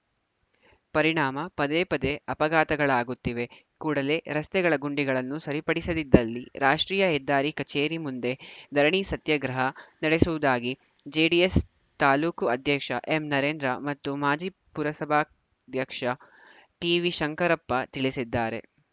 ಪರಿಣಾಮ ಪದೇ ಪದೇ ಅಪಘಾತಗಳಾಗುತ್ತಿವೆ ಕೂಡಲೇ ರಸ್ತೆಗಳ ಗುಂಡಿಗಳನ್ನು ಸರಿಪಡಿಸದಿದ್ದಲ್ಲಿ ರಾಷ್ಟ್ರೀಯ ಹೆದ್ದಾರಿ ಕಚೇರಿ ಮುಂದೆ ಧರಣಿ ಸತ್ಯಾಗ್ರಹ ನಡೆಸುವುದಾಗಿ ಜೆಡಿಎಸ್‌ ತಾಲೂಕು ಅಧ್ಯಕ್ಷ ಎಂ ನರೇಂದ್ರ ಮತ್ತು ಮಾಜಿ ಪುರಸಭಾಧ್ಯಕ್ಷ ಟಿವಿ ಶಂಕರಪ್ಪ ತಿಳಿಸಿದ್ದಾರೆ